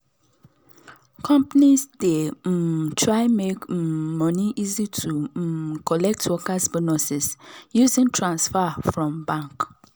companies dey um try make um money easy to um collect workers bonuses using transfer from bank